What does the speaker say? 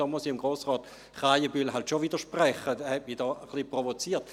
Hier muss ich Grossrat Krähenbühl schon widersprechen, er hat mich diesbezüglich etwas provoziert.